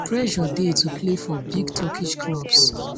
pressure dey to play for big turkish clubs